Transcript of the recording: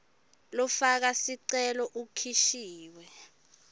lofaka sicelo ukhishiwe